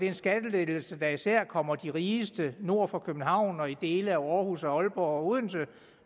en skattelettelse der især kommer de rigeste nord for københavn og i dele af aarhus og aalborg og odense